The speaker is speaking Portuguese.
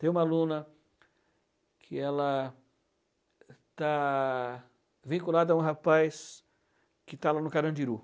Tem uma aluna que ela está vinculada a um rapaz que está lá no Carandiru.